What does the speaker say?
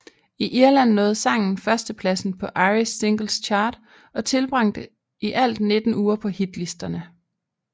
I Irland nåede sangen førstepladsen på Irish Singles Chart og tilbragte i alt 19 uger på hitlisterne